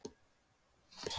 Hann var eins og ungur guð.